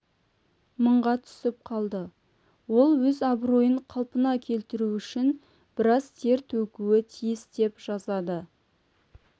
мыңға түсіп қалды ол өз абыройын қалпына келтіру үшін біраз тер төгуі тиіс деп жазады